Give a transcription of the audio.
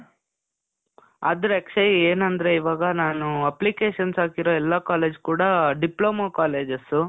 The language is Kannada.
ಆದ್ರೆ ಅಕ್ಷಯ್, ಏನಂದ್ರೆ ಇವಾಗ ನಾನೂ applications ಹಾಕಿರೋ ಎಲ್ಲಾ ಕಾಲೇಜಸ್ ಕೂಡಾ ಡಿಪ್ಲೋಮಾ ಕಾಲೇಜಸ್.